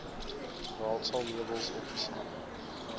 raadsaal meubels opgesaag